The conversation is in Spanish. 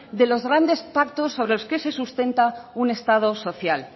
de los grandes pactos sobre los que se sustenta un estado social